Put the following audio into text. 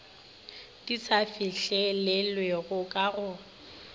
di sa fihlelelwego ka go